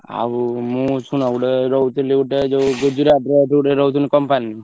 ଆଉ ମୁ ଶୁଣ ଗୋଟେ ରହୁଥିଲି ଗୋଟେ ଯୋଉ ଗୁଜୁରାଟ ର ଯୋଉ ଗୋଟେ company ।